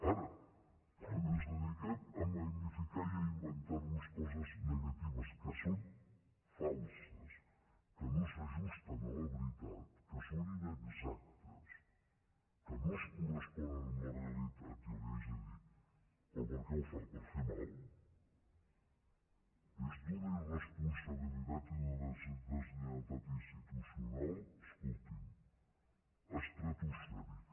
ara quan ens dediquem a magnificar i a inventar nos coses negatives que són falses que no s’ajusten a la veritat que són inexactes que no es corresponen amb la realitat jo li haig de dir però per què ho fa per fer mal és d’una irresponsabilitat i d’una deslleialtat institucional escolti’m estratosfèrica